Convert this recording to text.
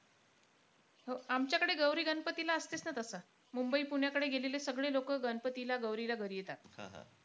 हो आमच्याकडे गौरी-गणपतीला असते sir तसं. मुंबई पुण्याकडे गेलेले सगळे लोकं, गणपतीला गौरीला घरी येतात.